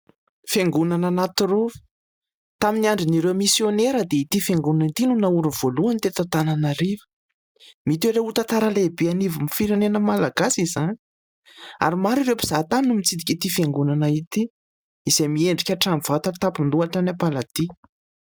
Fiangonana anatirova. Tamin'ny andron'ireo misiônera dia ity fiangonana ity no naoriny voalohany teto Antananarivo. Mitoetra ho tantara lehibe anivon'ny firenena malagasy izany ary maro ireo mpizahatany no mitsidika ity fiangonana ity, izay miendrika hatrany vata tampon-doha hatrany am-paladia.